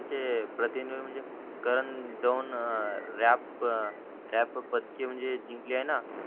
ते प्रतिनोय म्हणजे करण दोन रॅप पदकी म्हणजे जिंकली आहे ना